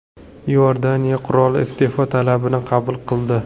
Iordaniya qiroli iste’fo talabini qabul qildi.